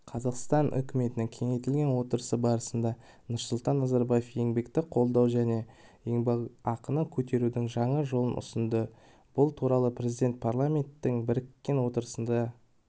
қазақстан үкіметінің кеңейтілген отырысы барысында нұрсұлтан назарбаев еңбекті қолдау және еңбекақыны көтерудің жаңа жолын ұсынды бұл туралы президент парламенттің біріккен отырысында